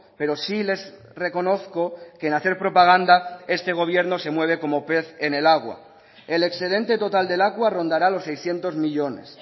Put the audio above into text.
pero sí les reconozco que en hacer propaganda este gobierno se mueve como pez en el agua el excedente total de lakua rondará los seiscientos millónes